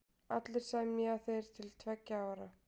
Allir semja þeir til tveggja ára.